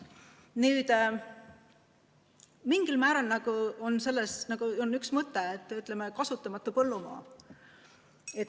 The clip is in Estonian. Nüüd, mingil määral võiks aidata, on nagu üks mõte, kasutamata põllumaa.